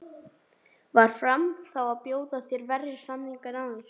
Var Fram þá að bjóða þér verri samning en áður?